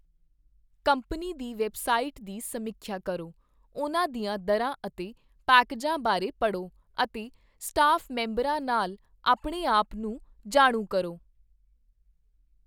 Company ਦੀ website ਦੀ ਸਮੀਖਿਆ ਕਰੋ, ਉਨ੍ਹਾਂ ਦੀਆਂ ਦਰਾਂ ਅਤੇ ਪੈਕੇਜਾਂ ਬਾਰੇ ਪੜ੍ਹੋ, ਅਤੇ ਸਟਾਫ ਮੈਂਬਰਾਂ ਨਾਲ ਆਪਣੇ ਆਪ ਨੂੰ ਜਾਣੂ ਕਰੋ।